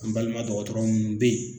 Nbalima dɔgɔtɔrɔ munnu be ye